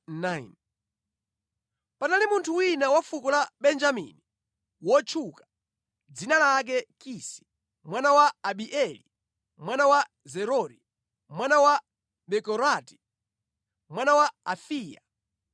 Panali munthu wina wa fuko la Benjamini, wotchuka, dzina lake Kisi, mwana wa Abieli, mwana wa Zerori, mwana wa Bekorati, mwana wa Afiya.